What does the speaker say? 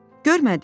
Görmədin?